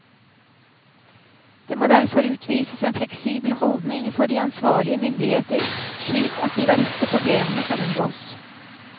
Det må derfor utvises en fleksibel holdning fra de ansvarlige myndigheter slik at de verste problemene kan unngås.